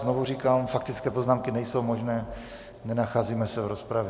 Znovu říkám, faktické poznámky nejsou možné, nenacházíme se v rozpravě.